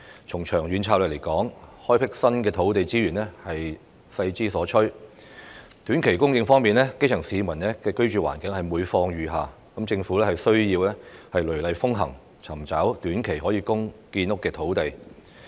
從長遠角度來看，開闢新的土地資源是勢之所趨；而在短期供應方面，基層市民的居住環境每況愈下，政府需要雷厲風行，尋找短期內可供建屋的土地。